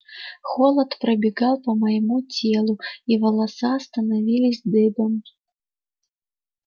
холод пробегал по моему телу и волоса становились дыбом